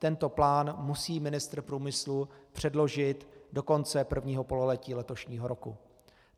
Tento plán musí ministr průmyslu předložit do konce prvního pololetí letošního roku.